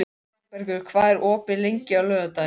Sæbergur, hvað er opið lengi á laugardaginn?